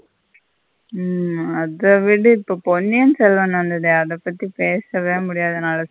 ம் அத விடு. இப்போ பொன்னியன் செல்வன் வந்தததே அத பத்தி பேசவே முடியாது என்னால.